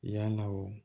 Yann'aw